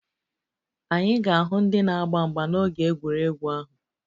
Anyị ga-ahụ ndị na-agba mgba n'oge egwuregwu ahụ